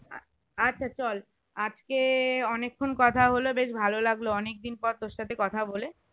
আচ্ছা চল আজকে অনেক্ষন কথাহলো বেশ ভালোলাগলো অনেকদিন পর তোর সাথে কথা বলে